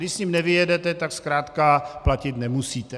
Když s ním nevyjedete, tak zkrátka platit nemusíte.